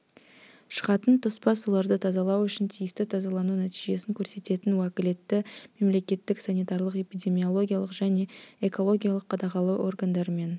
шығатын тоспа суларды тазалау үшін тиісті тазалану нәтижесін көрсететін уәкілетті мемлекеттік санитарлық-эпидемиологиялық және экологиялық қадағалау органдарымен